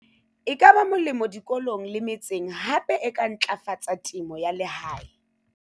e ka ba molemo dikolong le metseng hape e ka ntlafatsa temo ya lehae.